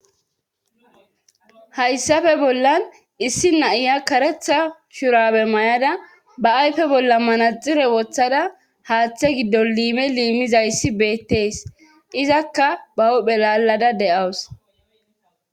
hayssape bollan issi naiya karetha shurabe may7ada ba ayfe bolla manaxire woththada haaththe giddo liime liimizayssi beettees izakka ba huphe lalada de7awus.